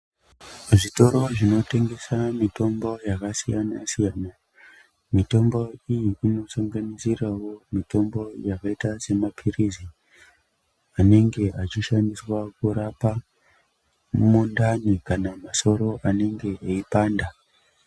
Zvitoro zvinotengesa mitombo yakasiyana siyana mitombo iyi inosanganisirawo mitombo yakaita semapirizi anenge achishandiswa kurapa mundani kana musoro anenge eipanda.